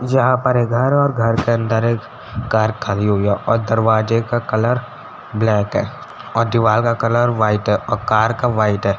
यहाँ पर एक घर है और घर के अंदर एक कार खवी हुई है और दरवाजे का कलर ब्लैक है और दीवार का कलर वाइट है और कार का वाइट है।